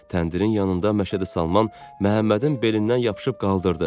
Təndirin yanında Məşədi Salman Məhəmmədin belindən yapışıb qaldırdı